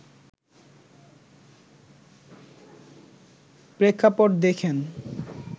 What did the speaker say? প্রেক্ষাপট দেখেন